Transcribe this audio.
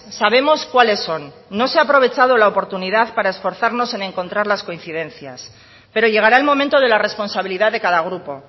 sabemos cuáles son no se ha aprovechado la oportunidad para esforzarnos en encontrar las coincidencias pero llegará el momento de la responsabilidad de cada grupo